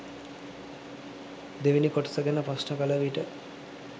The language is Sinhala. දෙවැනි කොටස ගැන ප්‍රශ්න කල විට